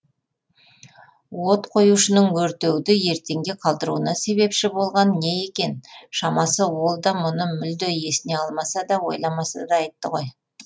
от қоюшының өртеуді ертеңге қалдыруына себепші болған не екен шамасы ол да мұны мүлде есіне алмаса да ойламаса да айтты ғой